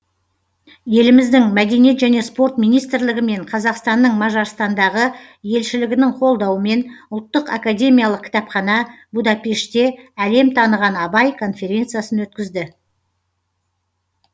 еліміздің мәдениет және спорт министрлігі мен қазақстанның мажарстандағы елшілігінің қолдауымен ұлттық академиялық кітапхана будапештте әлем таныған абай конференциясын өткізді